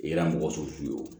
I kɛra mɔgɔ sugu ye o